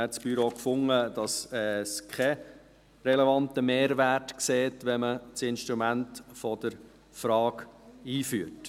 Das Büro fand dann, es sehe keinen relevanten Mehrwert, wenn man das Instrument der Frage einführt.